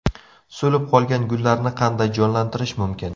So‘lib qolgan gullarni qanday jonlantirish mumkin?.